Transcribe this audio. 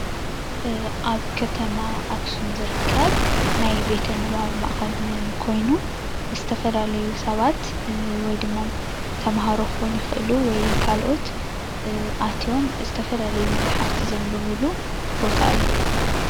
ኣብ ከተማ ኣክሱም ዝርከብ ናይ ቤተ ንባብ ማእከል ኮይኑ ዝተፈላለዩ ሰባት ወይድማ ተምሃሮ ክኮኑ ይክእሉ ወይም ካልኦት ኣትዮም ዝተፈላለዩ መፅሓፍቲ ዘንብብሉ ቦታ እዩ፡፡